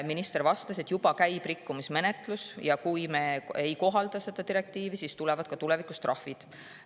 Minister vastas, et rikkumismenetlus juba käib ja kui me seda direktiivi ei kohalda, siis tulevad tulevikus trahvid.